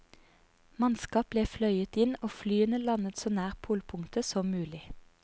Mannskap ble fløyet inn og flyene landet så nær polpunktet som mulig.